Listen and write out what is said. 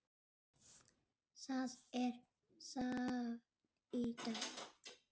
Það er safn í dag.